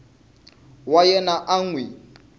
wa yena a n wi